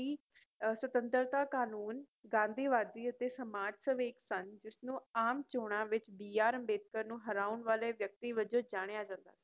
ਸੀ ਸਤੁਤੰਤਰਤਾ ਕਾਨੂੰਨ ਗਾਂਧੀਵਾਦੀ ਅਤੇ ਸਮਾਜ ਸੇਵਕ ਸਨ ਆਮ ਚੋਣਾਂ ਵਿੱਚ ਬੀ ਆਰ ਅੰਬੇਡਕਰ ਨੂੰ ਹਰਾਉਣ ਵਾਲੇ ਵਿਅਕਤੀ ਵਜੋਂ ਜਣਿਆ ਜਾਂਦਾ ਸੀ